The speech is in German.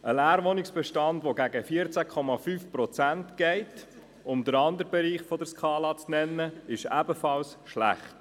Ein Leerwohnungsbestand, der gegen 14,5 Prozent geht – um den anderen Bereich der Skala zu nennen –, ist ebenfalls schlecht.